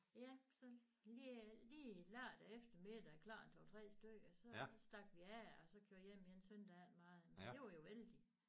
Ja så lige lige lørdag eftermiddag klokken 2 3 stykker så stak vi af og så kørte hjem igen søndag det var jo ikke meget men det var jo vældig